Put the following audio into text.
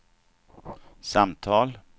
samtal